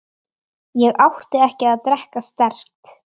Ég átti ekki að drekka sterkt.